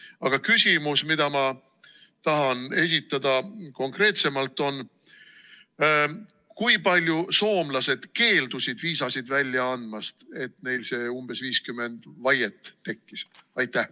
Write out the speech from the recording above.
Aga küsimus, mida ma tahan esitada konkreetsemalt, on see: kui palju soomlased keeldusid viisasid välja andmast, et neil see umbes 50 vaiet tekkis?